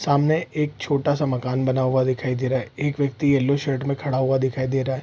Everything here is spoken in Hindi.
सामने एक छोटा सा मकान बना हुआ दिखाई दे रहा है एक व्यक्ति येलो शर्ट में खड़ा हुआ दिखाई दे रहा --